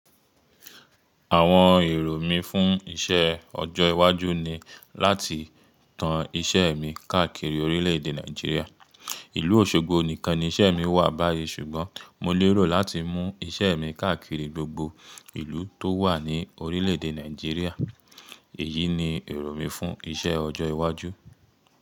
Àwọn èrò mí fún iṣẹ́ ọjọ́ iwájú ni láti tan iṣẹ́ mi káàkiri orílẹ̀-èdè Nàìjíríà. Ìlú Òṣogbo nìkan ni iṣẹ́ mi wà báyìí ṣùgbọ́n mo lérò láti mú iṣẹ́ mi káàkiri gbogbo ìlú tó wà ní orílẹ̀-èdè Nàìjíríà. Èyí ni èrò mí fún iṣẹ́ ọjọ́ iwájú.